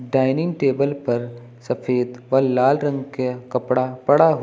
dining table पर सफेद और लाल रंग के कपड़ा पड़ा हु--